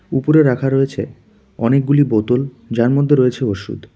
উপরে রাখা রয়েছে অনেকগুলি বোতল যার মধ্যে রয়েছে ওষুধ।